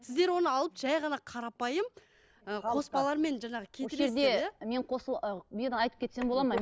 сіздер оны алып жай ғана қарапайым ы қоспалармен жаңағы кетіресіздер иә осы жерде мен айтып кетсем болады ма